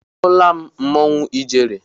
Ahụla m mmanwụ ijele.